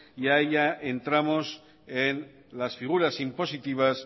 y ahí ya entramos en las figuras impositivas